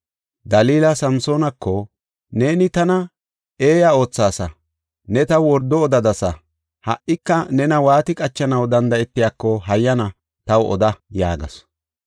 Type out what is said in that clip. Dalila Samsoonako, “Neeni tana eeya oothaasa; ne taw wordo odadasa. Ha77ika nena waati qachanaw danda7etiyako hayyana taw oda” yaagasu.